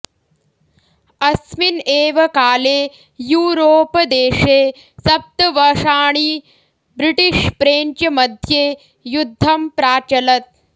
अस्मिन् एव काले यूरोप् देशे सप्तवषाणि ब्रिटिष् प्रेञ्च् मध्ये युद्धं प्राचलत्